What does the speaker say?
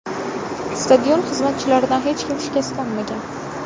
Stadion xizmatchilaridan hech kim shikastlanmagan.